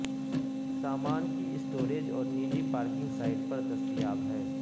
سامان کی اسٹوریج اور نجی پارکنگ سائٹ پر دستیاب ہے